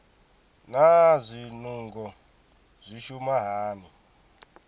naa zwinungo zwi shuma hani